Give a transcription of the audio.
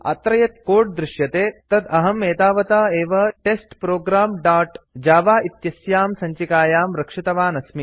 अत्र यत् कोड् दृश्यते तत् अहं एतावता एव टेस्टप्रोग्राम् दोत् जव इत्यस्यां सञ्चिकायां रक्षितवान् अस्मि